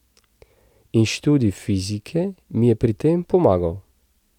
In študij fizike mi je pri tem pomagal.